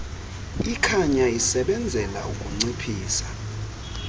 ikhanya isebenzela ukunciphisa